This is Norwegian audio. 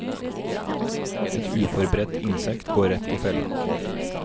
Et uforberedt insekt går rett i fella.